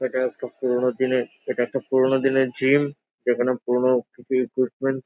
এটা একটা পুনোরো দিনের এটা একটা পুরোনো দিনের জিম এখানে পুরোনো কিছু ইকুইপমেন্ট --